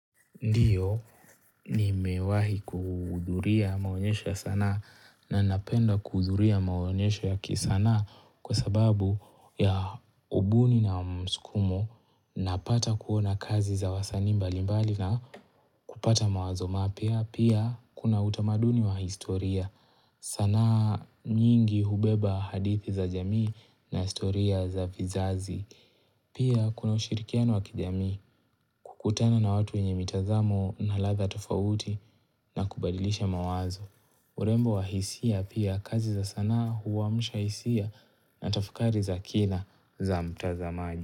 Ndiyo, nimewahi kuhudhuria maonyesho ya sanaa na napenda kuhudhuria maonyesho ya kisanaa kwa sababu ya ubuni na msukumo napata kuona kazi za wasanii mbali mbali na kupata mawazo mapya pia kuna utamaduni wa historia sanaa nyingi hubeba hadithi za jamii na historia za vizazi pia kuna ushirikiano wa kijamii kukutana na watu wenye mitazamo na ladha tofauti na kubadilisha mawazo. Urembo wa hisia pia kazi za sanaa huamusha hisia na tafakari za kina za mtazamaji.